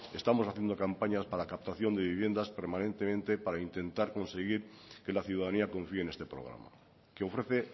estamos haciendo campañas para captación de viviendas permanentemente para intentar conseguir que la ciudadanía confié en este programa que ofrece